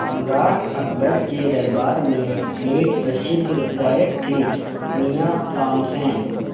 सम्राट अकबर के दरबार में एक प्रसिद्ध गायक थे मियाँ तानसेन